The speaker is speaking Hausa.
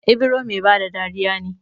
Ibro Mai bada dariya ne